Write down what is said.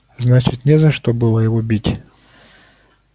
значит не за что было его бить